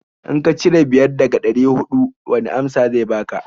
In ka cire biyar daga ɗari huɗu wani amsa zai baka?